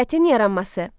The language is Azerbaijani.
Dövlətin yaranması.